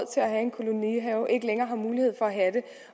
have der ikke længere har mulighed for